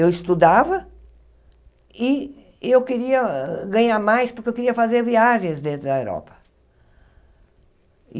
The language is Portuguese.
Eu estudava e eu queria ganhar mais porque eu queria fazer viagens dentro da Europa.